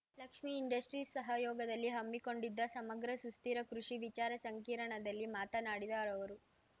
Lakshmi industries ಸಹಯೋಗದಲ್ಲಿ ಹಮ್ಮಿಕೊಂಡಿದ್ದ ಸಮಗ್ರ ಸುಸ್ಥಿರ ಕೃಷಿ ವಿಚಾರ ಸಂರ್ಕಿಣದಲ್ಲಿ ಮಾತನಾಡಿದ ಅವರು